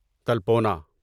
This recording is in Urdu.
تلپونا